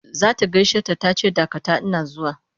Za ta gaishe ta ta ce dakata ina zuwa!